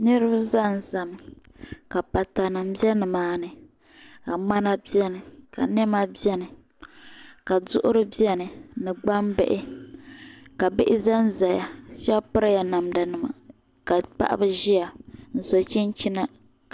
Niriba zan za mi ka pata nima bɛ ni maa ni ka ŋmana bɛni ka niɛma bɛni ka duɣiri bɛni ni gbambihi ka bihi zan zaya shɛba piri la namda nima ka paɣaba ʒiya n so chinchina.